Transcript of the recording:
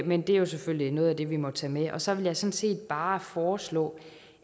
men det er selvfølgelig noget af det vi må tage med jeg sådan set bare foreslå